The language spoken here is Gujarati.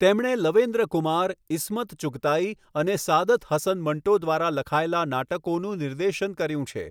તેમણે લવેન્ડ્ર કુમાર, ઈસ્મત ચુગતાઈ અને સઆદત હસન મંટો દ્વારા લખાયેલા નાટકોનું નિર્દેશન કર્યું છે.